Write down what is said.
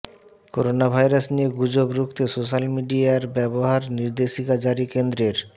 corona virus নিয়ে গুজব রুখতে সোশ্যাল মিডিয়ার ব্যবহার নির্দেশিকা জারি কেন্দ্রের